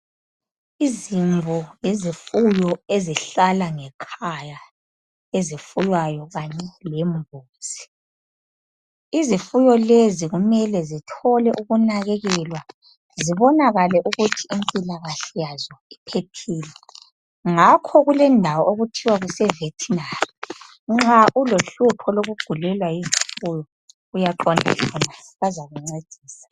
Izimvu yizifuyo ezihlala ngekhaya ezifuywayo kanye lembuzi izifuyo lezi kumele zithole ukunakekelwa zibonakale ukuthi impilakahle yazo iphephile ngakho kule ndawo okuthiwa kuse vertinary nxa ulohlupho lokugulelwa yizifuyo uyaqonda khonale bazakuncedisa